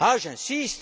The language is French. J'insiste.